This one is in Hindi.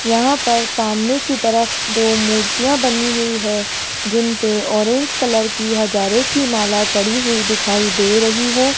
यहां पर सामने की तरफ दो मूर्तियां बनी हुई है जिन पे ऑरेंज कलर की हजारे की माला चढ़ी हुई दिखाई दे रही है।